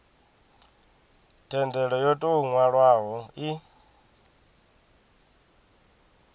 thendelo yo tou nwalwaho i